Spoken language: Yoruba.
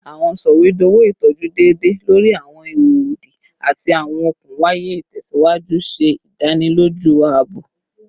Awọn sọwedowo itọju deede lori awọn iho odi ati awọn okun waya itẹsiwaju ṣe idaniloju aabo